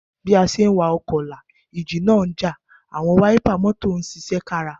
Bí a ṣe ń wakọ̀ la ìjì náà já, àwọn wáípà mọ́tò ń ṣiṣẹ́ kára.